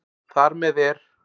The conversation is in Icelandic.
Þar með er